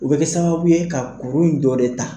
U bɛ kɛ sababu ye ka kuru in dɔ de ta.